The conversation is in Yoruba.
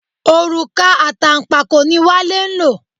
Òrùka àtànpàkò ni Wale ń lò.